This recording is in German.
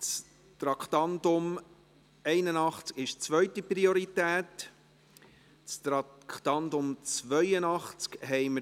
Das Traktandum 81 ist von zweiter Priorität und wird später behandelt;